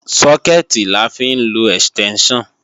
Sókẹ̀tì la fi ń lọ ẹ̀stẹ́ńṣàn